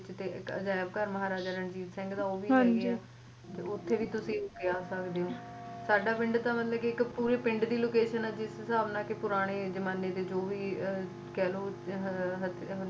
ਤੇ ਅਜਾਇਬ ਘਰ ਮਹਾਰਾਜਾ ਰਣਜੀਤ ਸਿੰਘ ਦਾ ਓਥੇ ਵੀ ਤੁਸੀ ਜਾ ਸਕਦੇ ਓ ਸਾਡਾ ਪਿੰਡ ਤਾਂ ਮਤਲਬ ਕਿ ਇਕ ਪੂਰੀ ਪਿੰਡ ਦੀ location ਏ ਜਿਸ ਹਿਸਾਬ ਨਾਲ ਪੁਰਾਣੇ ਜਮਾਨੇ ਦੇ ਜੌ ਵੀ ਕਹਿਲੋ